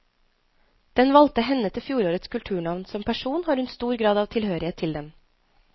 Den valgte henne til fjorårets kulturnavn, som person har hun stor grad av tilhørighet til den.